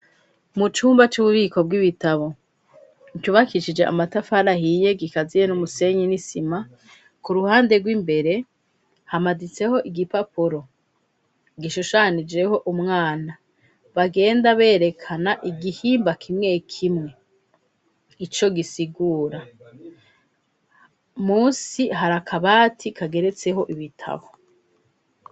mucumba c'ububiko bw'ibitabo cubakishije amatafara ahiye gikaziye n'umusenyi n'isima kuruhande rw'imbere hamaditseho igipapuro gishushanijeho umwana bagenda berekana igihimba kimwe kimwe ico gisigura munsi hari akabati kageretseho ibitabo